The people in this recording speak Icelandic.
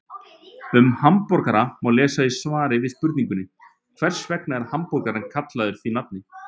Um hamborgara má lesa í svari við spurningunni Hvers vegna eru hamborgarar kallaðir því nafni?